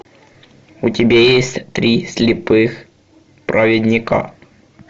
у тебя есть три слепых праведника